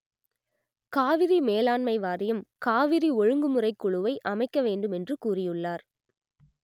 காவிரி மேலாண்மை வாரியம் காவிரி ஒழுங்குமுறை குழுவை அமைக்க வேண்டும் என்று கூறியுள்ளார்